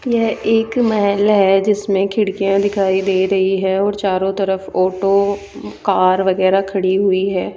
यह एक महल है जिसमें खिड़कियां दिखाई दे रही हैं और चारों तरफ ओटो कार वगैरह खड़ी हुई है।